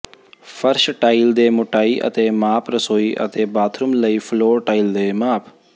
ਫਰਸ਼ ਟਾਇਲ ਦੇ ਮੋਟਾਈ ਅਤੇ ਮਾਪ ਰਸੋਈ ਅਤੇ ਬਾਥਰੂਮ ਲਈ ਫਲੋਰ ਟਾਇਲਸ ਦੇ ਮਾਪ